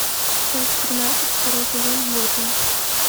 часть тринадцать второй сезон готэм